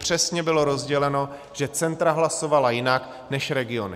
Přesně bylo rozděleno, že centra hlasovala jinak než regiony.